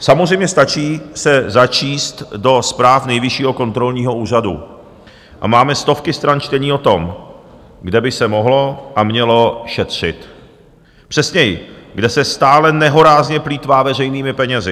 Samozřejmě stačí se začíst do zpráv Nejvyššího kontrolního úřadu a máme stovky stran čtení o tom, kde by se mohlo a mělo šetřit, přesněji, kde se stále nehorázně plýtvá veřejnými penězi.